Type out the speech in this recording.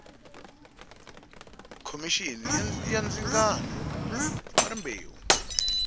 khomixini ya ndzingano wa rimbewu